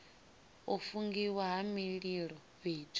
u fungiwa ha mililo fhethu